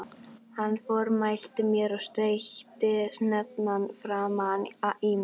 Hann formælti mér og steytti hnefann framan í mig.